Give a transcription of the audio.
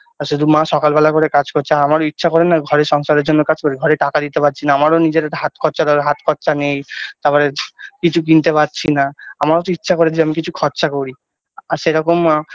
আর শুধু মা সকালবেলা করে কাজ করছে আমারও ইচ্ছা করে না ঘরের সংসারের জন্য কাজ করি ঘরে টাকা দিতে পারছি না আমার নিজের হাত খরচা দরকার নিজের হাত খরচা নেই তারপরে কিছু কিনতে পারছি না আমারও তো ইচ্ছা করে যে আমি কিছু খরচা করি আর সেরকম আ